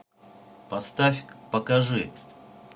поставь покажи